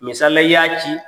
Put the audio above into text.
Misali la i y'a ci.